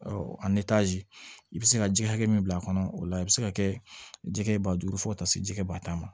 i bɛ se ka ji hakɛ min bila a kɔnɔ o la i bɛ se ka kɛ jɛgɛ ba duuru fo ka taa se jɛgɛ batan ma